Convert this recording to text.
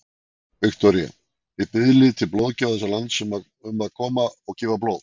Viktoría: Þið biðlið til blóðgjafa þessa lands sem að koma og gefa blóð?